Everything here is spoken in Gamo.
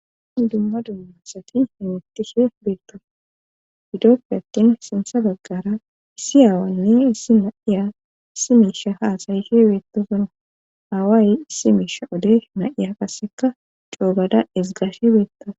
dumma dumma asati hemetishe biirta hidoppe attin sintha baggara issi aawanne issi naiya issi miisha haasayise beettosuna aaway issi miisha ode na7iya qasseka coobada esgashe beetta